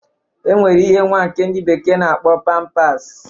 E nwere ihe nwa nke ndị bekee na-akpọ pampas.